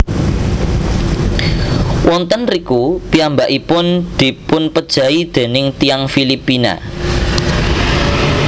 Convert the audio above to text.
Wonten riku piyambakipun dipunpejahi déning tiyang Filipina